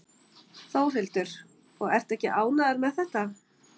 Þórhildur: Og ertu ekki ánægður með þetta?